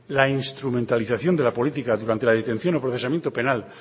la instrumentalización de la política durante la detención o procesamiento penal